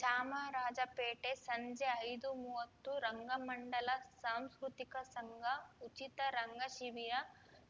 ಚಾಮರಾಜಪೇಟೆ ಸಂಜೆ ಐದುಮುವತ್ತು ರಂಗಮಂಡಲ ಸಾಂಸ್ಕೃತಿಕ ಸಂಘ ಉಚಿತ ರಂಗ ಶಿಬಿರ